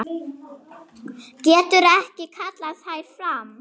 Getur ekki kallað þær fram.